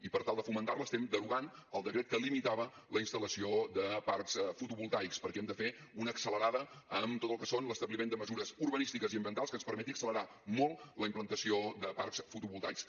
i per tal de fomentar la estem derogant el decret que limitava la instal·lació de parcs fotovoltaics perquè hem de fer una accelerada en tot el que són l’establiment de mesures urbanístiques i ambientals que ens permeti accelerar molt la implantació de parcs fotovoltaics